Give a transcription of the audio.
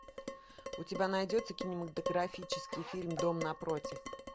у тебя найдется кинематографический фильм дом напротив